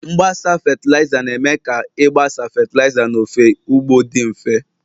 Mgbasa fatịlaịza, na-eme ka ịgbasa fatịlaịza n'ofe ugbo dị mfe